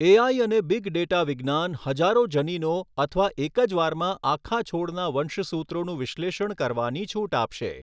AI અને big data વિજ્ઞાન હજારો જનીનો અથવા એક જ વારમાં આખા છોડના વંશસૂત્રોનું વિશ્લેષણ કરવાની છૂટ આપશે.